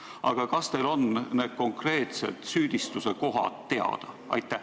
Aga kas teil on need konkreetsed süüdistuse kohad teada?